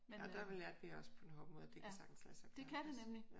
Ja der lærte vi også på den hårde måde at det kan sagtens lade sig at gøre iggås?